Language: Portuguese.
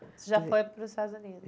Você já foi para os Estados Unidos?